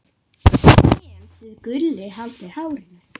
en þið Gulli haldið hárinu.